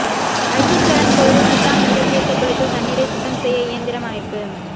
வைத்தீஸ்வரன்கோயிலில் சித்தாமிர்த தீர்த்த குளத்தில் தண்ணீரை சுத்தம் செய்ய இயந்திரம் அமைப்பு